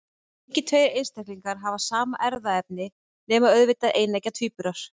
Engir tveir einstaklingar hafa sama erfðaefni, nema auðvitað eineggja tvíburar.